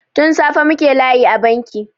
Tun safe muke layi a banki.